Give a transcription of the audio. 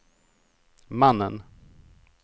mannen